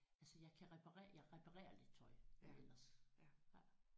Så jeg kan reparere jeg reparerer lidt tøj men ellers